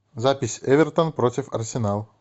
запись эвертон против арсенал